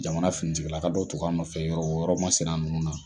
Jamana finitigila ka dɔ tun b'a nɔfɛ yɔrɔ o yɔrɔ ma sina nunnu na